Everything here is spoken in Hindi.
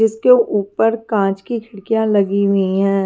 इसके ऊपर कांच की खिड़कियां लगी हुई हैं।